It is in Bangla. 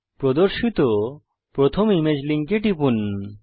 প্রদর্শিত প্রথম ইমেজ লিঙ্কে টিপুন